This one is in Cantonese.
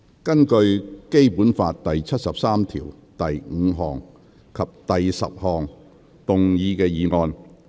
根據《基本法》第七十三條第五項及第十項動議的議案。